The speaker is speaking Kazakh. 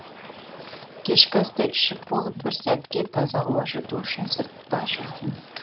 кешкі асты ішіп болып бір сәтке таза ауа жұту үшін сыртта жүрдім